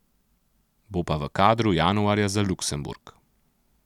Bo pa v kadru januarja za Luksemburg.